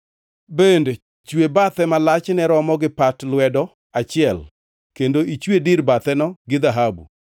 Bende chwe bathe ma lachne romo gi pat lwedo achiel kendo ichwe dir batheno gi dhahabu.